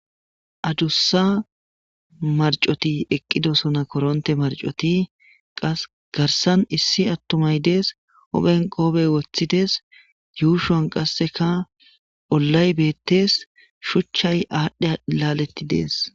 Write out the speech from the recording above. adussa marcoti eqqido sona koronte marcoti qas garsan issi attumay dees open qoobey woththides yuushon qasseka ollay beettes shuchchay aadhdhe laaletti dees